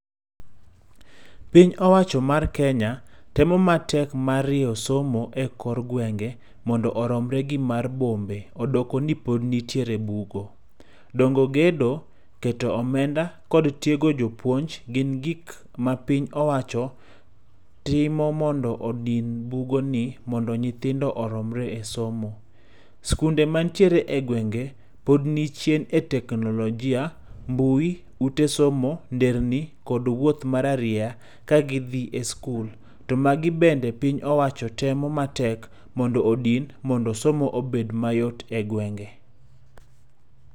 Piny owacho mar Kenya, temo matek mar riyo somo e kor gwengé, mondo oromre gi mar bombe, odoko ni pod nitiere bugo. Dongo gedo, keto omenda, kod tiego jopuonj, gin gik ma piny owacho timo mondo odin bugoni, mondo nyithindo oromre e somo. Skunde man tiere e gwenge, pod ni chien e teknolojia, mbui, ute somo, nderni, kod wuoth mar arieya ka gidhi e skul. To magi bende piny owacho temo matek, mondo odin, mondo somo obed mayot e gwenge.